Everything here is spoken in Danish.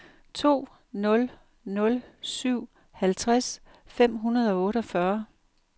to nul nul syv halvtreds fem hundrede og otteogfyrre